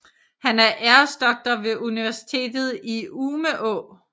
Han er æresdoktor ved Universitetet i Umeå